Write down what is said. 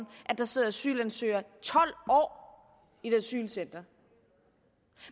at der sidder asylansøgere i tolv år i et asylcenter